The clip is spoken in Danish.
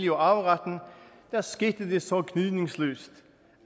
og arveretten skete det så gnidningsløst